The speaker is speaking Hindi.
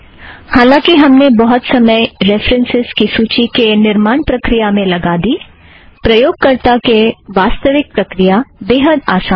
हांलांकि हमने बहुत समय रेफ़रन्सस् सूची के निर्माण प्रक्रिया में लगा दी प्रयोगकर्ता के वास्तविक प्रक्रिया बेहद आसान है